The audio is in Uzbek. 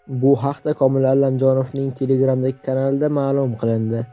Bu haqda Komil Allamjonovning Telegram’dagi kanalida ma’lum qilindi .